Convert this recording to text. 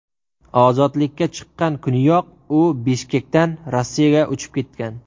Ozodlikka chiqqan kuniyoq u Bishkekdan Rossiyaga uchib ketgan.